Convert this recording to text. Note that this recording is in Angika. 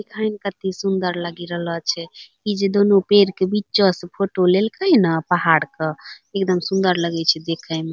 देखै में कते सुन्दर लगी रहलो छे | इ जो दोनों पेड़ के बीचो से फोटो लेलकै ना पहाड़ क एकदम सुन्दर लगई छे दखे मे |